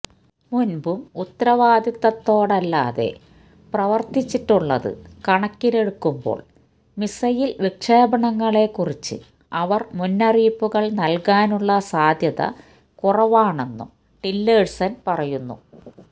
മുൻപും ഉത്തരവാദിത്തത്തോടല്ലാതെ പ്രവർത്തിച്ചിട്ടുള്ളത് കണക്കിലെടുക്കുമ്പോൾ മിസൈൽ വിക്ഷേപണങ്ങളെക്കുറിച്ച് അവർ മുന്നറിയിപ്പു നൽകാനുള്ള സാധ്യത കുറവാണെന്നും ടില്ലേഴ്സൺ പറയുന്നു